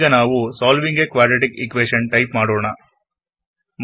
ಈಗ ನಾವು solving a quadratic equation type ಮಾಡೋಣ